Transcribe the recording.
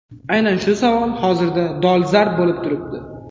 Aynan shu savol hozirda dolzarb bo‘lib turibdi.